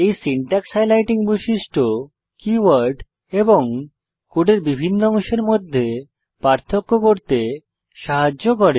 এই syntax highlighting বৈশিষ্ট্য keyword এবং কোডের বিভিন্ন অংশের মধ্যে পার্থক্য করতে সাহায্য করে